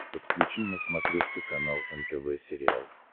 подключи на смотрешке канал нтв сериал